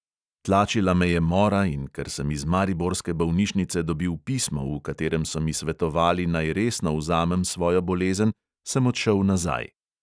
Tlačila me je mora, in ker sem iz mariborske bolnišnice dobil pismo, v katerem so mi svetovali, naj resno vzamem svojo bolezen, sem odšel nazaj.